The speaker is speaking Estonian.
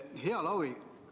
Hea Lauri!